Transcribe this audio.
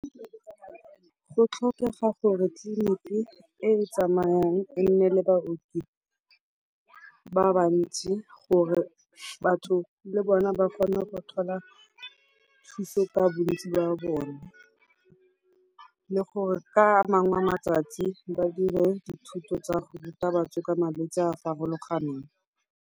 Go tlhokega gore tliliniki e e tsamayang e nne le baoki ba ba ntsi gore batho le bona ba kgone go thola thuso ka bontsi jwa bone, le gore ka a mangwe matsatsi ba dire dithuto tsa go ruta batho ka malwetsi a a farologaneng.